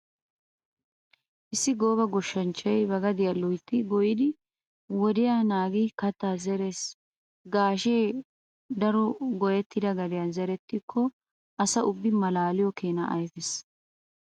Issi gooba goshshanchchay ba gadiya loytti goyyidi wodiya naagidi kattaa zerees. Gaashee daro goyettida gadiyan zerettikko asa ubbi malaaliyo keenaa ayfees.